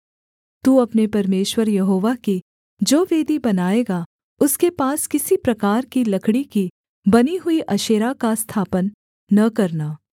तू अपने परमेश्वर यहोवा की जो वेदी बनाएगा उसके पास किसी प्रकार की लकड़ी की बनी हुई अशेरा का स्थापन न करना